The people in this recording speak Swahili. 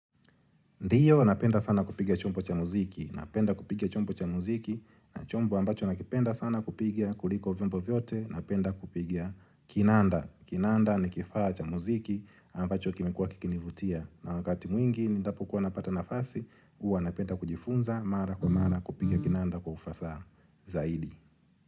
Ndiyo, napenda sana kupiga chombo cha muziki, napenda kupiga chombo cha muziki, na chombo ambacho nakipenda sana kupiga kuliko vyombo vyote, napenda kupiga kinanda, kinanda ni kifaa cha muziki ambacho kimekua kikinivutia. Na wakati mwingi, ninapokuwa napata nafasi, huwa napenda kujifunza, mara kwa mara, kupiga kinanda kwa ufasaha zaidi.